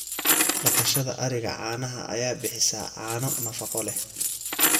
Dhaqashada ariga caanaha ayaa bixisa caano nafaqo leh.